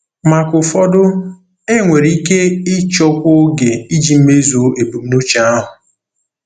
Maka ụfọdụ, enwere ike ịchọkwu oge iji mezuo ebumnuche ahụ.